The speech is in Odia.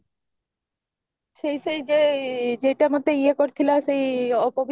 ସେଇ ସେଇ ଯେ ଜେଇଟା ମତେ ଇଏ କରିଥିଲା ସେଇ ପବିତ୍ର